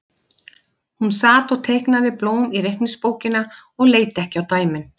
Hún sat og teiknaði blóm í reikningsbókina og leit ekki á dæmin.